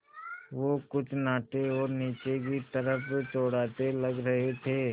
वो कुछ नाटे और नीचे की तरफ़ चौड़ाते लग रहे थे